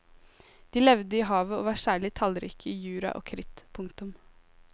De levde i havet og var særlig tallrike i jura og kritt. punktum